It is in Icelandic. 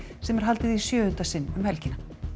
sem er haldið í sjöunda sinn um helgina